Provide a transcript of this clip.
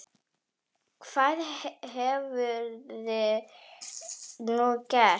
Hvað hefðir þú gert?